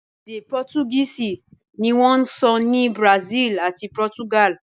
Èdè Pọ́tugíìsì ní wọ́n ń ṣọ́ ní Brazil àti Portugal